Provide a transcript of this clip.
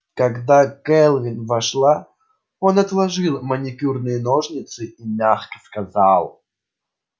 когда кэлвин вошла он отложил маникюрные ножницы и мягко сказал